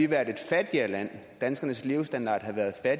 været et fattigere land danskernes levestandard havde været